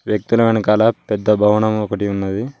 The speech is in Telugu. వ్యక్తుల వెనకాల పెద్ద భవనం ఒకటి ఉన్నది.